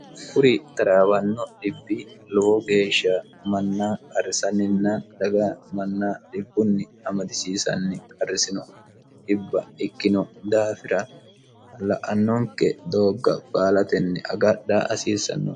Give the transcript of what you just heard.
kuri taraabanno dhibbi lowo geeshsha manna qarrisanninna dhaga manna dibbunni amadisiisanni qarrisino dhibba ikkino daafira la"annonke doogga baalatenni agadha hasiissanno